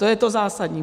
To je to zásadní.